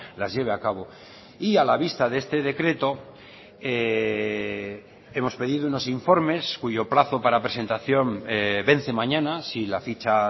las lleve a cabo y a la vista de este decreto hemos pedido unos informes cuyo plazo para presentación vence mañana si la ficha